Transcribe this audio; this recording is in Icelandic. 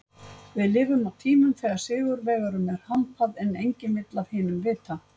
Við lifum á tímum þegar sigurvegurum er hampað en enginn vill af hinum vita.